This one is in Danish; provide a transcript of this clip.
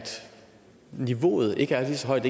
niveauet ikke er lige så højt